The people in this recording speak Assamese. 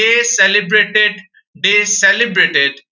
day celebrated, day celebrated